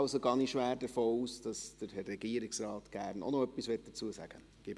Darum gehe ich schwer davon aus, dass der Herr Regierungsrat auch noch gerne etwas dazu sagen möchte.